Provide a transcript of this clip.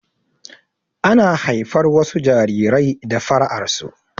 Ana haifar wasu jarirai da fara'ar su